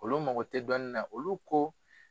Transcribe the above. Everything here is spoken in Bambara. Olu mago tɛ dɔɔnin na olu ko